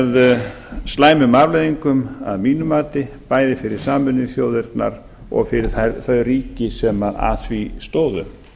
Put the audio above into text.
með slæmum afleiðingum að mínu mati bæði fyrir sameinuðu þjóðirnar og fyrir þau ríki sem að því stóðu